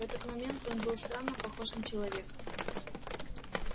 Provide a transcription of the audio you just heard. в этот момент он был странно похож на человека